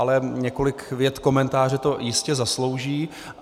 Ale několik vět komentáře to jistě zaslouží.